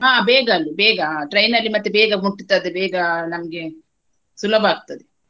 ಹಾ ಬೇಗ ಅದು ಬೇಗಾ ಹಾ train ಅಲ್ಲಿ ಮತ್ತೆ ಬೇಗಾ ಮುಟ್ಟುತದೆ ಬೇಗಾ ನಮ್ಗೆ ಸುಲಭ ಆಗ್ತದೆ.